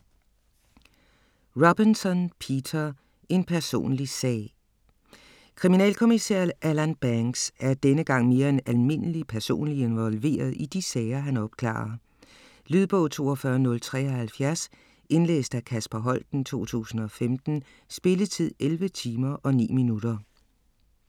Robinson, Peter: En personlig sag Kriminalkommissær Alan Banks er denne gang mere end almindeligt personligt involveret i de sager han opklarer. Lydbog 42073 Indlæst af Kasper Holten, 2015. Spilletid: 11 timer, 9 minutter.